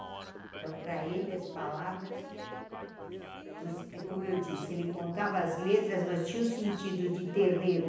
Então, para ele, as palavras você... é Como eu disse, ele contava as letras, mas tinha o sentido de terreiro.